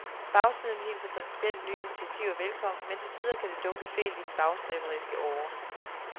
Bagsiden hilser principielt nye initiativer velkommen, men til tider kan det dunke fælt i den bagstræberiske åre.